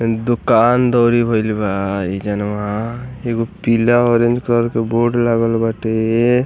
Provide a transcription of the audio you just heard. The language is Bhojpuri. दुकान दौरी भईल बा ए जनवा एगो पीला ऑरेंज कलर के बोर्ड लागल बाटे।